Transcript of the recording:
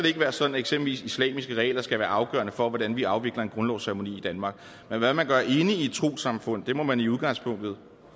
ikke være sådan at eksempelvis islamiske regler skal være afgørende for hvordan vi afvikler en grundlovsceremoni i danmark men hvad man gør inde i et trossamfund må man i udgangspunktet